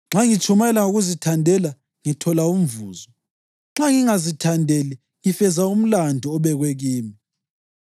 Nxa ngitshumayela ngokuzithandela, ngithola umvuzo; nxa ngingazithandeli, ngifeza umlandu obekwe kimi.